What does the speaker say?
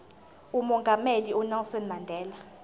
umongameli unelson mandela